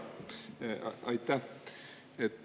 Aitäh!